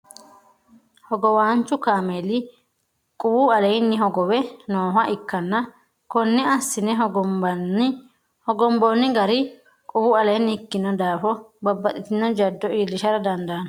hogowaanchu kaameeli quwu aleenni hogowe nooha ikkanna konne assine hogomboonni gari quwu leenni ikkino daafo babbaxitino jaddo iilishara dandaano .